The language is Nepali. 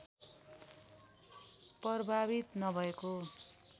प्रवाहित नभएको